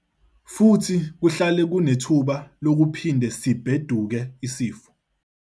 Futhi kuhlale kunethuba lokuphinde sibheduke isifo.